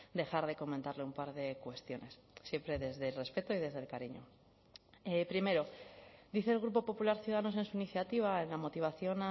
dejar de comentarle un par de cuestiones siempre desde el respeto y desde el cariño primero dice el grupo popular ciudadanos en su iniciativa en la motivación